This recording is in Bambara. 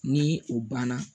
Ni o banna